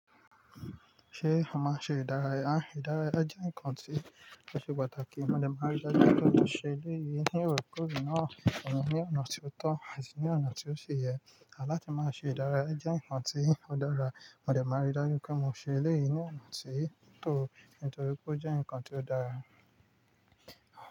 Ṣé a máa ṣe ìdárayá? Ìdárayá jẹ́ nǹkan tí ó ṣe pàtàkì. Mo dẹ̀ máa rí dájú pé mò ṣe eléyìí ní orekore náà, wọ́n ni ọ̀nà tí ó tọ́ àti ní ọ̀nà tí ó ṣe yẹ. À láti máa ṣe ìdárayá jẹ́ nǹkan tí ó dára. Mo dẹ̀ máa rí dájú pé mo ṣe eléyìí ní ọ̀nà tí ó tọ́, nítorí pé ó jẹ́ nǹkan tí ó dára.